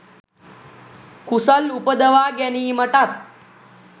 කුසල් උපදවා ගැනීමටත්